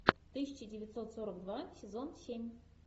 тысяча девятьсот сорок два сезон семь